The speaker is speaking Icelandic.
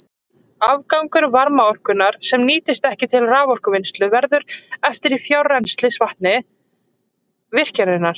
Afgangur varmaorkunnar, sem nýtist ekki til raforkuvinnslu, verður eftir í frárennslisvatni virkjunarinnar.